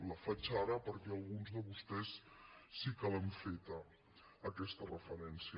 la faig ara perquè alguns de vostès sí que l’han feta aquesta referència